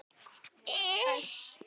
Pabbi og Svala systir.